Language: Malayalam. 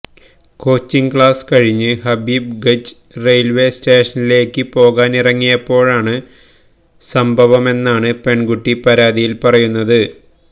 കോച്ചിംഗ് ക്ലാസ് കഴിഞ്ഞ് ഹബീബ് ഗഞ്ച് റെയില്വേ സ്റ്റേഷനിലേയ്ക്ക് പോകാനിറങ്ങിയപ്പോഴാണ് സംഭവമെന്നാണ് പെണ്കുട്ടി പരാതിയില് പറയുന്നത്